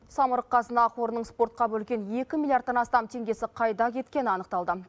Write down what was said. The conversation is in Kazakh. самұрық қазына қорының спортқа бөлген екі миллиардтан астам теңгесі қайда кеткені анықталды